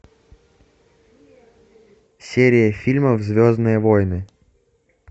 серия фильмов звездные войны